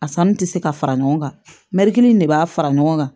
A sanni tɛ se ka fara ɲɔgɔn kan mɛrin kelen de b'a fara ɲɔgɔn kan